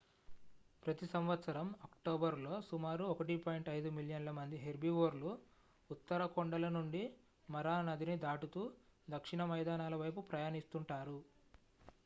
ప్రతి సంవత్సరం అక్టోబరు లో సుమారు 1.5 మిలియన్ల మంది హెర్బివోర్లు ఉత్తర కొండల నుండి మరా నదిని దాటుతూ దక్షిణ మైదానాల వైపు ప్రయాణిస్తుంటారు